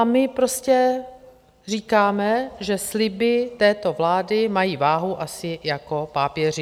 A my prostě říkáme, že sliby této vlády mají váhu asi jako pápěří.